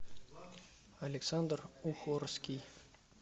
александр ухорский